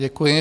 Děkuji.